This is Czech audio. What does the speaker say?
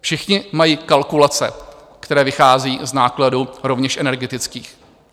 Všichni mají kalkulace, které vychází z nákladů rovněž energetických.